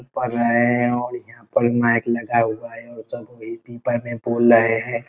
पढ़ रहे हैं और यहाँ पे माइक लगा हुआ है सभी स्पीकर में बोल रहे हैं।